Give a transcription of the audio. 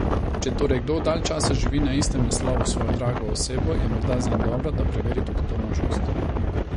Če torej kdo dalj časa živi na istem naslovu s svojo drago osebo, je morda zanj dobro, da preveri tudi to možnost.